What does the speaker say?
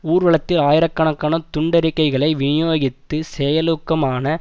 ஊர்வலத்தில் ஆயிரக்கணக்கான துண்டறிக்கைகளை விநியோகித்து செயலூக்கமான